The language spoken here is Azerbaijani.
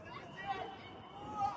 Əli nə olub, Əli?